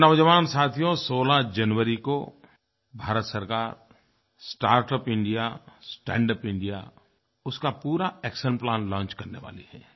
मेरे नौजवान साथियो 16 जनवरी को भारत सरकार स्टार्टअप इंडिया स्टैंडअप इंडिया उसका पूरा एक्शनप्लान लॉन्च करने वाली है